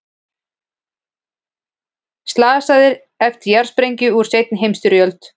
Slasaðir eftir jarðsprengju úr seinni heimsstyrjöld